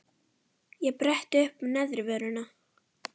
Ég bretti uppá neðri vörina.